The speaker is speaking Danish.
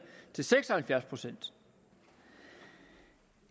til seks og halvfjerds procent